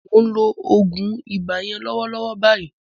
Mò ń lo oògùn ibà yẹn lọ́wọ́lọ́wọ́ báyìí